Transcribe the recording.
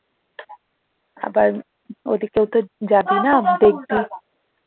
আবার ওদিকেও তো যাবি না দেখবি